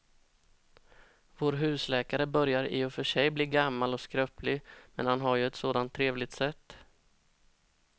Vår husläkare börjar i och för sig bli gammal och skröplig, men han har ju ett sådant trevligt sätt!